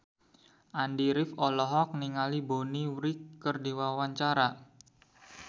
Andy rif olohok ningali Bonnie Wright keur diwawancara